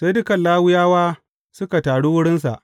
Sai dukan Lawiyawa suka taru wurinsa.